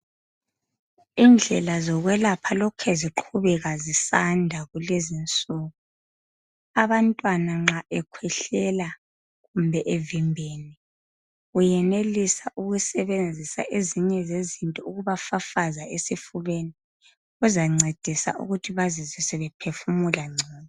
Indlela zokwelapha lokhe ziqhubeka zisanda kulezi insuku. Abantwana nxa bekhwehlela kumbe evimbene uyenelisa ukusebenzisa ezinye zezinto ukubafafaza esifubeni. Kuzancedisa ukuthi bazizwe sebephefumula ngcono.